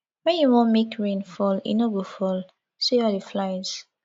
when you wan make rain fall e no go fall see all the flies